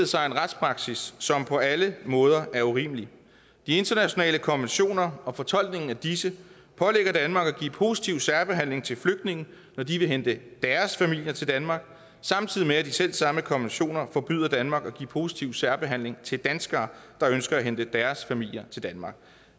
sig en retspraksis som på alle måder er urimelig de internationale konventioner og fortolkningen af disse pålægger danmark at give positiv særbehandling til flygtninge når de vil hente deres familier til danmark samtidig med at de selv samme konventioner forbyder danmark at give positiv særbehandling til danskere der ønsker at hente deres familier til danmark